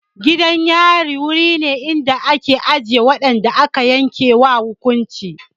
Gidan yari wuri ne da ake ajiye waɗanda aka yanke ma hukunci.